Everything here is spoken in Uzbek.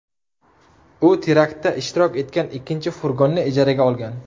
U teraktda ishtirok etgan ikkinchi furgonni ijaraga olgan.